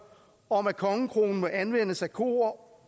om at kongekronen må anvendes af kroer